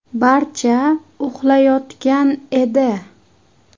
Barcha uxlayotgan edi.